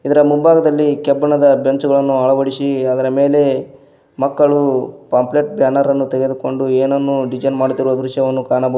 ಇದರ ಮುಂಭಾಗದಲ್ಲಿ ಕಬ್ಬಿಣದ ಬೆಂಚನ್ನು ಅಳವಡಿಸಿ ಅದರ ಮೇಲೆ ಮಕ್ಕಳು ಪಾಂಪ್ಲೆಟ್ ಬ್ಯಾನರನ್ನು ತೆಗೆದುಕೊಂಡು ಎನನ್ನೋ ಡಿಸೈನ್ ಮಾಡುತ್ತಿರುವ ದೃಶ್ಯವನ್ನು ಕಾಣಬಹುದು.